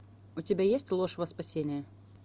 у тебя есть ложь во спасение